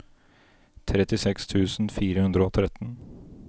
trettiseks tusen fire hundre og tretten